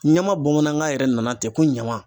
Ɲama bamanankan yɛrɛ nana ten ko ɲama